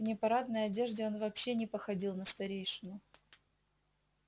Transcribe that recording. в непарадной одежде он вообще не походил на старейшину